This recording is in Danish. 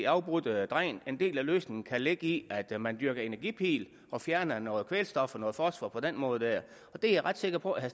afbrudte dræn og en del af løsningen kan ligge i at man dyrker energipil og fjerner noget kvælstof og noget fosfor på den måde det er jeg ret sikker på at